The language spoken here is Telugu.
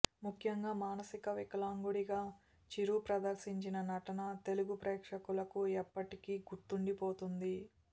ముఖ్యంగా మానసిక వికలాంగుడిగా చిరు ప్రదర్శించిన నటన తెలుగు ప్రేక్షకులకు ఎప్పటికీ గుర్తుండిపోతుంది